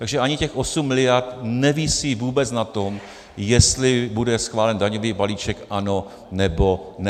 Takže ani těch 8 miliard nevisí vůbec na tom, jestli bude schválen daňový balíček - ano, nebo ne.